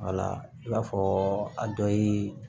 i b'a fɔ a dɔ ye